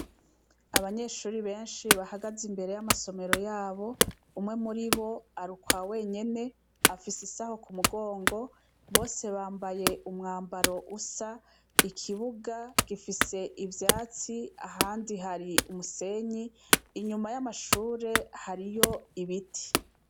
Abanyeshure benshi bahagaze imbere y'ama somero yabo umwe muribo ari ukwa wenyene afise isaho kumugongo Bose bamabaye umwambaro usa ,ikibuga gifise ivyatsi ahandi hari umusenyi inyuma y'amashure hariyo ibiti .